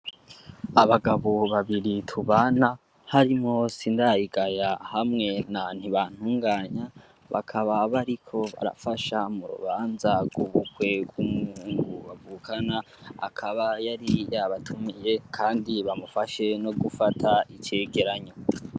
Abagabo babiri tubana harimo sindayigaya hamwe na ntibantunganya bakababariko arafasha mu rubanza gubukwerw umwwengu bavukana akaba yari yabatumiye, kandi bamufashe no gufata icegeranyo.